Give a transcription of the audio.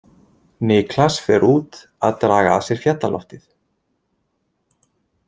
Niklas fer út að draga að sér fjallaloftið.